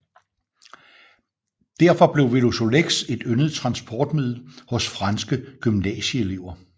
Derfor blev Velosolex et yndet transportmiddel hos franske gymnasieelever